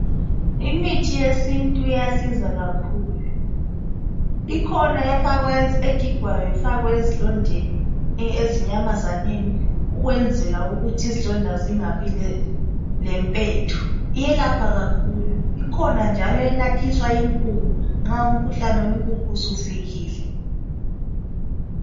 Imithi yesintu iyasiza kakhulu ikhona egigwayo ifakwe ezilondeni zenyamazana ukwenzela ukuthi izilonda zingabi lempethu, uyelapha kakhulu. Ukhona njalo oyelapha inkukhu nxa umkhuhlane wenkukhu sufikile